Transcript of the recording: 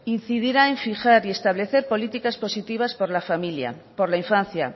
incidirá en fijar y establecer políticas positivas por la familia por la infancia